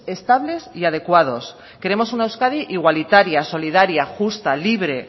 estables y adecuados queremos una euskadi igualitaria solidaria justa libre